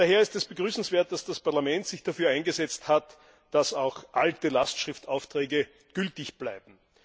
Daher ist es begrüßenswert, dass das Parlament sich dafür eingesetzt hat, dass auch alte Lastschriftaufträge gültig bleiben.